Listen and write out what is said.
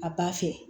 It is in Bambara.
A b'a fɛ